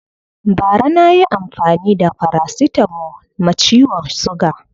Bara na yi amfani da farasitamo ma ciwon suga